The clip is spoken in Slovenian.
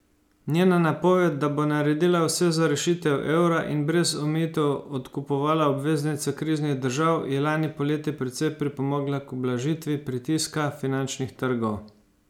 Njena napoved, da bo naredila vse za rešitev evra in brez omejitev odkupovala obveznice kriznih držav, je lani poleti precej pripomogla k ublažitvi pritiska finančnih trgov.